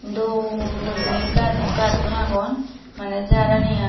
dol guriney gacchun agon mane jar ani ai.